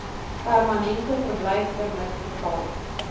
permanente verblyfpermit verval